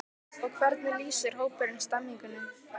Og hvernig lýsir hópurinn stemningunni?